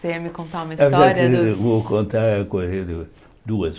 Você ia me contar uma história dos... Vou contar uma coisa do duas.